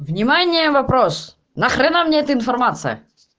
внимание вопрос нахрена мне это информация